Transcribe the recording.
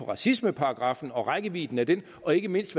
på racismeparagraffen og rækkevidden af den og ikke mindst